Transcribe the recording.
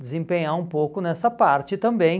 desempenhar um pouco nessa parte também.